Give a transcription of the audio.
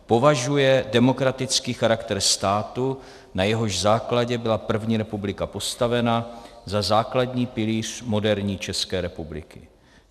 - Považuje demokratický charakter státu, na jehož základě byla první republika postavena, za základní pilíř moderní České republiky.